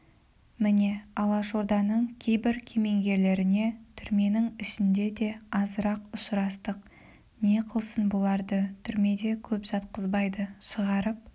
міне алашорданың кейбір кемеңгерлеріне түрменің ішінде де азырақ ұшырастық не қылсын бұларды түрмеде көп жатқызбайды шығарып